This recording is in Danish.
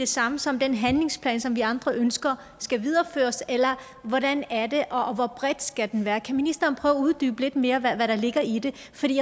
samme som den handlingsplan som vi andre ønsker skal videreføres eller hvordan er det og hvor bred skal den være kan ministeren prøve at uddybe lidt mere hvad der ligger i det